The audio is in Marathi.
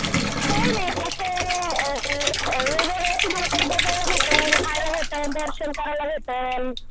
काय नाही असं अ हे बघा तुम्हाला काही बघायला भेटलं खायला भेटेल दर्शन करायला भेटेल